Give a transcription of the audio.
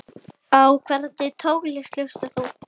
Á hvernig tónlist hlustar þú?